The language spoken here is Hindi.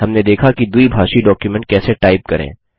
हमने देखा कि द्विभाषी डॉक्युमेंट कैसे टाइप करें